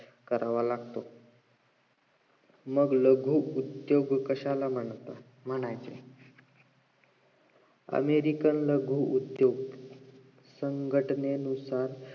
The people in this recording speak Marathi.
करावा लागतो न भय उद्दोग कशाला म्हणतात अमेरिकेमधील उद्दोग संघटनेनुसार